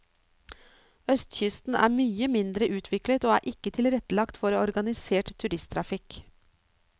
Østkysten er mye mindre utviklet og er ikke tilrettelagt for organisert turisttrafikk.